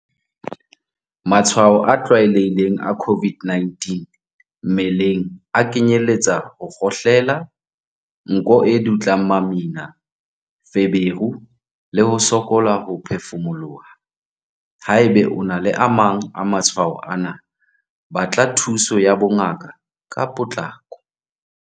Matshwao a tlwaelehileng a COVID-19 mmeleng a kenyeletsa ho kgohlela, nko e dutlang mamina, feberu le ho sokola ho phefumoloha. Haeba o na le a mang a matshwao ana, batla thuso ya bongaka ka potlako.